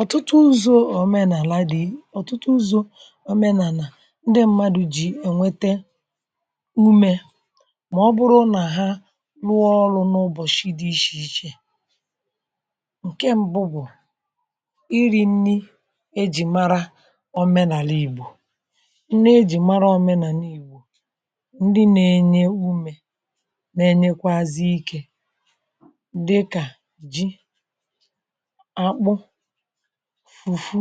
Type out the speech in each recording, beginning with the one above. ọ̀tụtụ ụzọ̇ òmenàlà dị ọ̀tụtụ ụzọ̇ òmenàlà um ndị mmadụ̀ jì ènwete umė mà ọ bụrụ nà ha rụọ ọrụ̇ n’ụbọ̀shị̀ dị̇ ichè ichè um ǹke mbụ bụ̀ iri̇ nni ejì mara ọmenàla ìgbò nọ̀ ejì mara ọmenàla ìgbò um ndị na-enye umė na-enyekwazị ikė dịkà ji fufu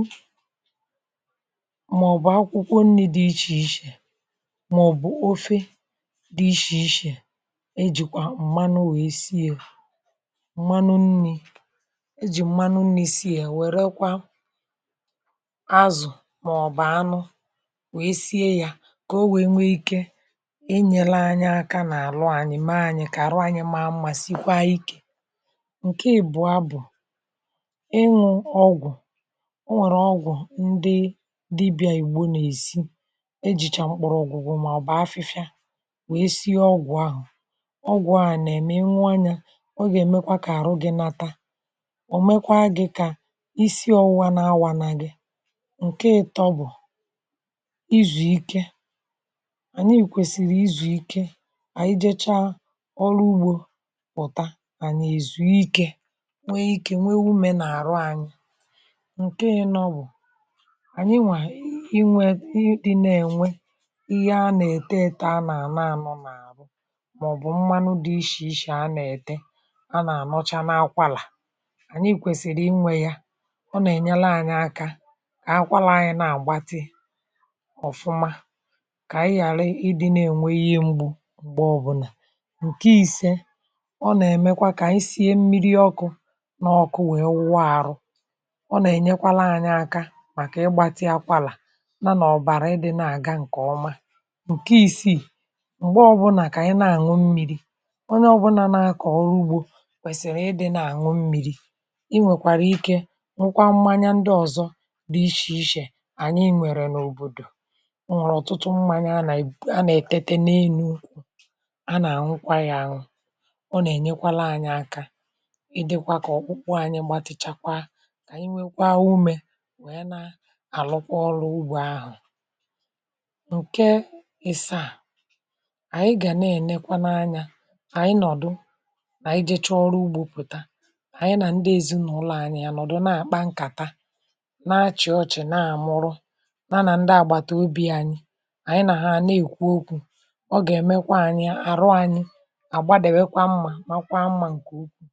maọ̀bụ̀ akwụkwọ nni̇ dị ichè ichè um maọ̀bụ̀ ofe dị ishè ishè e jikwà mmanụ nwèe sie ya um mmanụ nni̇ e jì mmanụ nwèe sie ya wèrèkwa azụ̀ maọ̀bụ̀ anụ wee sie ya um kà o wee nwee ike nyere anyị aka n’àlụ anyị̀ maanyị̀ ka àlụ anyị̀ um ma amụ̀ma sikwa ikė ǹke ìbụ̀ a bụ̀ ọ nwẹ̀rẹ̀ ọgwụ̀ ndị dibị̇ um ànyị gbonàèsi ejìchà mkpụrụ̇ ọgwụgwụ mà ọ̀ bụ̀ afịfịa um wee si ọgwụ̀ ahụ ọgwụ̀ a nà ẹ̀mẹ ị nwụ anyȧ um ọ gà ẹ̀mẹkwa kà àrụ gị̇ nata ọ̀ mẹkwa gị̇ kà isi ọwụwa na awanȧ gị um ǹkẹ ị tọbò izù ike ànyị yị̀kwèsìrì izù ike um ànyị jechaa ọrụ ugbȯ pụ̀ta ànyị èzùikė um nwee ikė nwee wụmẹ̀ nà àrụ anyị um ǹke yȧ nọ bụ̀ ànyị nwà inwė ị dị na ènwe ihe a nà-ète um eto a nà-ànọ̇ n’àrụ mà ọ̀ bụ̀ mmanụ dị ichè ichè um a nà-ète a nà-ànọcha n’akwȧlà ànyị kwèsìrì inwė yȧ um ọ nà-ènyele anyị aka kà akwȧla anyị na-àgbatị ọ̀fụma kà ànyị ghàra ị dị na ènwe ihe mgbu um m̀gbè ọbụ̀là ǹke ise ọ nà-èmekwa kà ànyị sie mmiri ọkụ̇ n’ọkụ nwèe wụọ àrụ um ọ nà ènyekwala anya aka màkà ịgbȧtị akwalà nȧ ọ̀bàrà ịdị̇ nà àga ǹkọ̀ọma um ǹke isiì m̀gbe ọbụnà kà ànyị na àṅụ mmiri̇ onye ọbụnȧ nȧ akọ̀ ọrụ ugbȯ um kwèsìrì ịdị̇ nà àṅụ mmiri̇ inwèkwàrà ike um nwukwa mmanya ndị ọ̀zọ dị ichè ichè ànyị nwèrè n’òbòdò um ọ nwèrè ọ̀tụtụ mmanya anà èbè um anà ètete n’enu a nà àṅụkwaghị àṅụ um ọ nà ènyekwala anya aka ịdị̇kwa kà ọkpụkpụ anyị gbatịchakwa um anyị nwekwa umė wee na-arụkwa ọrụ ugbò ahụ̀ um nke ịsa à anyị gà na-ènekwa n’anya um anyị nọ̀dụ nà-ejė chọọrọ ugbòpùta anyị nà ndị ezinàụlọ̀ anyị um ya nọ̀dụ na-àkpa nkàta na-achị̀ ọchị̀ um na-àmụrụ na na ndị àgbàtà obì anyị anyị nà ha na-èkwu okwu̇ um ọ gà-èmekwa anyị àrụ anyị àgbadèwekwa mmȧ makwa mmȧ ǹkè okwu